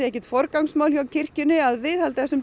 ekki forgangsmál kirkjunnar að viðhalda